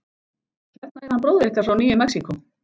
Hérna er hann bróðir ykkar frá Nýju Mexíkó.